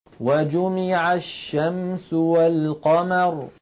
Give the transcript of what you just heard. وَجُمِعَ الشَّمْسُ وَالْقَمَرُ